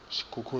skukuza